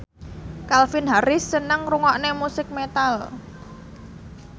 Calvin Harris seneng ngrungokne musik metal